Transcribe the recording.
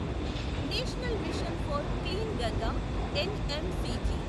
national mission for clean Ganga NMCG